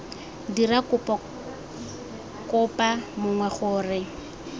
dira kopo kopa mongwe gore